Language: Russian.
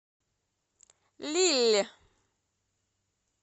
лилль